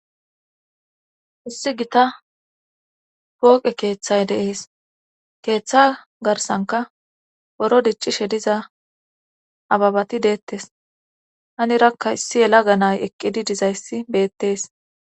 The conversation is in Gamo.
issi gita pooqe keeththay deees keeththa garsanka boro diccishe diza ababati deettes hani rakka issi yela ga nay eqqidi dizayssi beettees